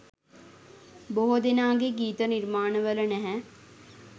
බොහෝ දෙනාගේ ගීත නිර්මාණ වල නැහැ.